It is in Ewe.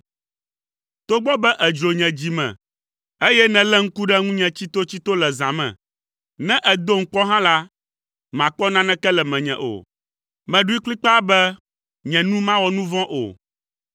Togbɔ be èdzro nye dzi me eye nèlé ŋku ɖe ŋunye tsitotsito le zã me; ne èdom kpɔ hã la, màkpɔ naneke le menye o. Meɖoe kplikpaa be nye nu mawɔ nu vɔ̃ o.